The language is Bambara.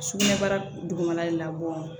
Sugunɛbara dugumana de labɔ